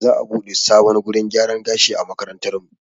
Za'a buɗe sabon wurin gyaran gashi a makarantarmu.